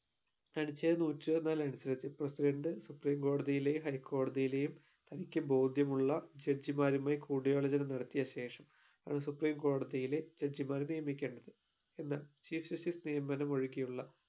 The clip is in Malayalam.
അനുച്ഛേദം നൂറ്റി ഇരുപത്തിനാല് അടിസ്ഥാനത്തിൽ presidentsupreme കോടതിയിലെയും high കോടതിയിലെയും തനിക്ക് ബോധ്യമുള്ള judge മാരുമായി കൂടിയാലോചന നടത്തിയ ശേഷം ആണ് supreme കോടതിയിലെ judge ഇമാരെ നിയമിക്കേണ്ടത് എന്നാ chief justice നിയമനം ഒഴികെയുള്ള